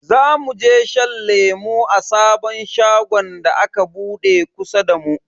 Zamu je shan lemu a sabon shagon da aka bude kusa da mu.